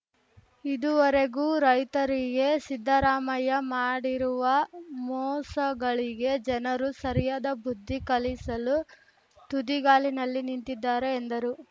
ಇದುವರೆಗೂ ರೈತರಿಗೆ ಸಿದ್ದರಾಮಯ್ಯ ಮಾಡಿರುವ ಮೋಸಗಳಿಗೆ ಜನರು ಸರಿಯಾದ ಬುದ್ಧಿ ಕಲಿಸಲು ತುದಿಗಾಲಿನಲ್ಲಿ ನಿಂತಿದ್ದಾರೆ ಎಂದರು